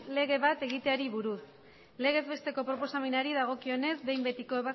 lege bat egiteari buruz legez besteko proposamenari dagokionez behin betiko